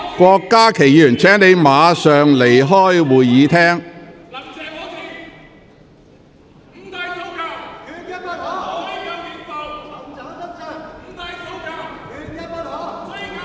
郭家麒議員，請你立即離開會議廳。